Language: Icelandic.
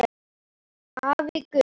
Afi Gunnar.